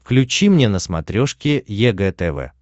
включи мне на смотрешке егэ тв